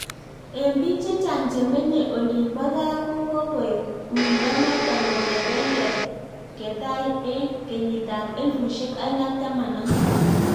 Eng piik chechang chemenyee olinbaa gaa ko kokoek uindo notok kongetee ketai eng kenyit ap elfusiek oeng ak taman ak muut